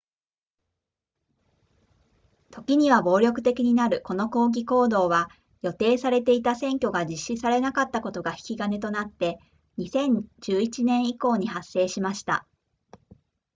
ときには暴力的になるこの抗議行動は予定されていた選挙が実施されなかったことが引き金となって2011年以降に発生しました